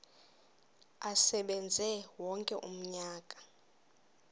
asebenze wonke umnyaka